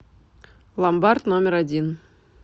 ломбард номер один